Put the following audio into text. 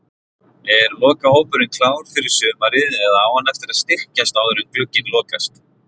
Er lokahópurinn klár fyrir sumarið eða á hann eftir að styrkjast áður en glugginn lokast?